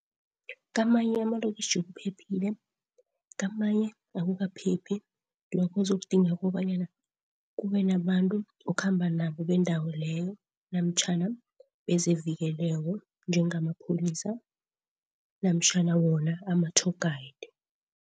Kamanye amalokitjhi kuphephile, kamanye akukaphephi. Kuzokudinga kobanyana kubenabantu okhamba nabo bendawo leyo, namtjhana bezevikeleko njengamapholisa namtjhana wona ama-tour guide.